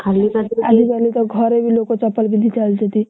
ଆଜିକାଲି ତ ଘରେ ବି ଲୋକ ଚାପଲ ପିନ୍ଧି ଚାଲୁଛନ୍ତି।